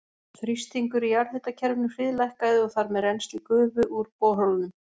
Þrýstingur í jarðhitakerfinu hríðlækkaði og þar með rennsli gufu úr borholunum.